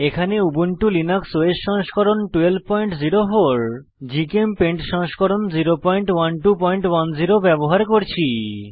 এখানে Ubuntu Linux OS সংস্করণ 1204 জিচেমপেইন্ট সংস্করণ 01210 ব্যবহার করছি